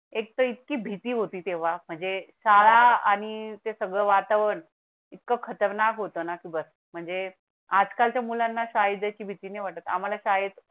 एक तर इतकी भीती होती तेव्हा म्हणजे शाळा आणि ते सगळं वातावरण इतकं खतरनाक होता की बस म्हणजे आजकालच्या मुलांना साहित्याची भीती ने वाटत. आम्हाला शाळेत